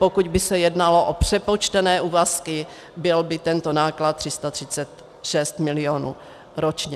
Pokud by se jednalo o přepočtené úvazky, byl by tento náklad 336 mil. ročně.